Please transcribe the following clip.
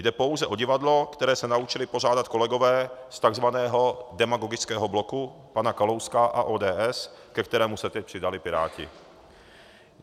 Jde pouze o divadlo, které se naučili pořádat kolegové z tzv. demagogického bloku pana Kalouska a ODS, ke kterému se teď přidali Piráti.